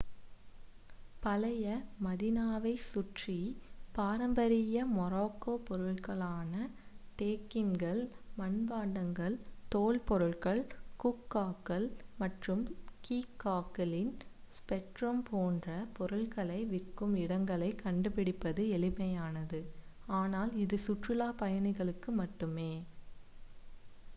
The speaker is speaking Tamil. பழைய மதீனாவைச் சுற்றி பாரம்பரிய மொராக்கோ பொருட்களான டேகின்கள் மண்பாண்டங்கள் தோல் பொருட்கள் ஹூக்காக்கள் மற்றும் கீகாக்களின் ஸ்பெக்ட்ரம் போன்ற பொருட்களை விற்கும் இடங்களைக் கண்டுபிடிப்பது எளிமையானது ஆனால் இது சுற்றுலாப் பயணிகளுக்கு மட்டுமே